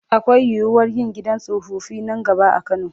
Akwai yiwuwar yin gidan tsofaffi nan gaba a Kano.